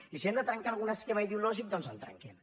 i si hem de trencar algun esquema ideològic doncs el trenquem